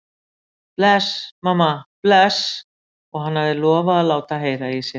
Bless, mamma, bless, og hann hafði lofað að láta heyra í sér.